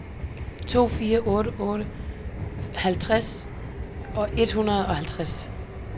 to fire otte otte halvtreds et hundrede og halvtreds